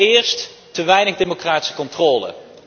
Allereerst te weinig democratische controle.